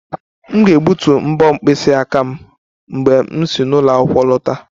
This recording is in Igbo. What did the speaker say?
M ga-egbutu mbo mkpịsị aka m mgbe m si n'ụlọ akwụkwọ lọta